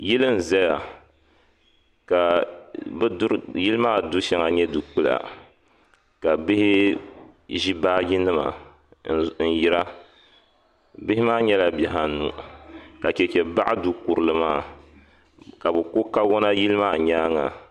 Yili n zaya ka yili maa du shɛŋa nyɛ du kpula ka bihi zi baaji nima n yiri a bihi maa nyɛla bihi anu ka chɛchɛ baɣi du kurili maa ka bi ko kawona yili maa yɛanga.